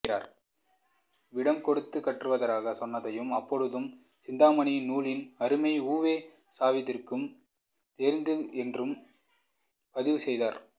விடம் கொடுத்துக் கற்றுவரச் சொன்னதாகவும் அப்பொழுதுதான் சிந்தாமணி நூலின் அருமை உ வே சாவிற்குத் தெரிந்தது என்றும் பதிவு செய்கிறார்